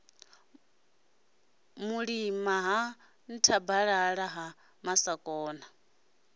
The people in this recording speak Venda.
mulima ha nthabalala ha masakona